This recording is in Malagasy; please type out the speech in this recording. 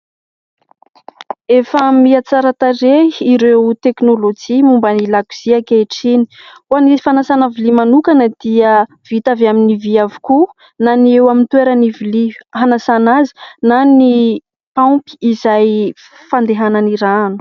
Efa miha tsara tarehy ireo teknolojia momba ny lakozia ankehitriny. Ho an'ny fanasana vilia manokana dia vita avy amin'ny vy avokoa, na ny eo amin'ny toeran'ny vilia hanasana azy na ny paompy izay fandehanan'ny rano.